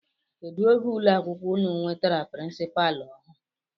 Kedụ oge ụlọ akwụkwọ unu nwetara pirinsipaalu ọhụụ?